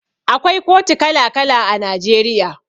Akwai kotu kala kala a Najeriya.